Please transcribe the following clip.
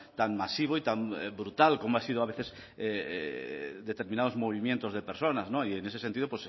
tan masivo y tan brutal como ha sido a veces determinados movimientos de personas no y en ese sentido